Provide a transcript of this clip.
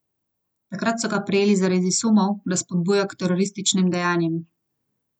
Takrat so ga prijeli zaradi sumov, da spodbuja k terorističnim dejanjem.